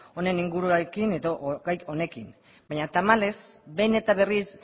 honen inguruan edo gai honekin baina tamalez behin eta berriz